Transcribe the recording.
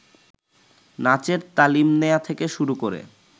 নাচের তালিম নেয়া থেকে শুরু করে